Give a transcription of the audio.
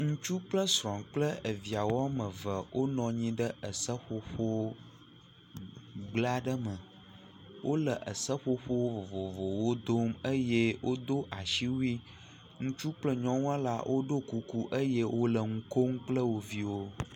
Ŋutsu kple srɔ̃ kple eviawo wɔme eve wonɔ anyi ɖe eseƒoƒo gble aɖe me. Wo le eseƒoƒo vovovowo dom eye woɖo asiwui. Ŋutsu kple nyɔnua la woɖo kuku eye wo le nu kom kple wo viwo.